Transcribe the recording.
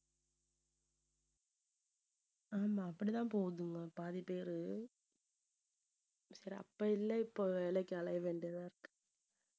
ஆமா அப்படிதான் போகுதுங்க பாதி பேரு சரி அப்ப இல்லை இப்ப வேலைக்கு அலையை வேண்டியதா இருக்கு